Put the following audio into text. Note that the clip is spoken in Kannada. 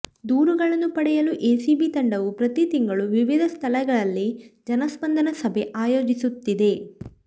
ದೂರುಗಳನ್ನು ಪಡೆಯಲು ಎಸಿಬಿ ತಂಡವು ಪ್ರತಿ ತಿಂಗಳು ವಿವಿಧ ಸ್ಥಳಗಳಲ್ಲಿ ಜನಸ್ಪಂದನ ಸಭೆ ಆಯೋಜಿಸುತ್ತಿದೆ